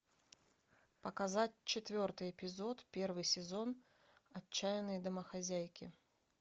показать четвертый эпизод первый сезон отчаянные домохозяйки